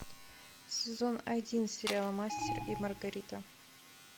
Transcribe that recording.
сезон один сериала мастер и маргарита